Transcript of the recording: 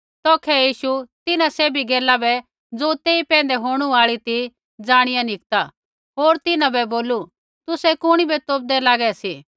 तैबै यीशु तिन्हां सैभी गैला बै ज़ो तेई पैंधै ऐणु आई ती ज़ाणिया निकता होर तिन्हां बै बोलू तुसै कुणी बै तोपदै लागे सी